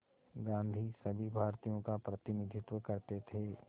गांधी सभी भारतीयों का प्रतिनिधित्व करते थे